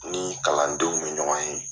N ni kalandenw be ɲɔgɔn ye .